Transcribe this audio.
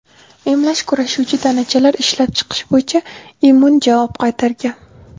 Emlash kurashuvchi tanachalar ishlab chiqish bo‘yicha immun javob qaytargan.